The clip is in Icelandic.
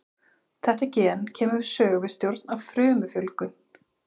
Þetta gen kemur við sögu við stjórn á frumufjölgun.